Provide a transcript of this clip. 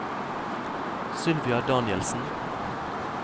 Sylvia Danielsen